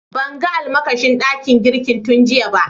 Ban gan almakashi dakin girki tun giya ba.